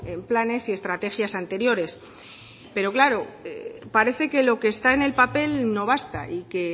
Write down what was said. en planes y estrategias anteriores pero claro parece que lo que está en el papel no basta y que